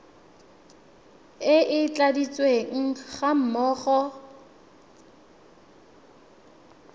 e e tladitsweng ga mmogo